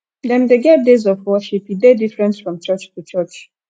dem de get days of worship e de diferent from church to church